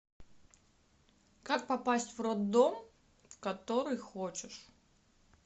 как попасть в роддом в который хочешь